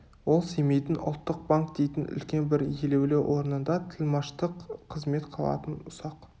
ол семейдің ұлттық банк дейтін үлкен бір елеулі орнында тілмаштық қызмет қылатын ұсақ